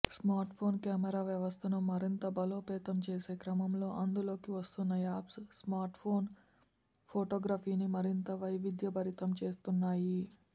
smartphone camera వ్యవస్థను మరింత బలోపేతం చేసే క్రమంలో అందుబాటులోకి వస్తోన్న యాప్స్ స్మార్ట్ఫోన్ ఫోటోగ్రఫీని మరింత వైవిద్యభరితం చేస్తున్నాయి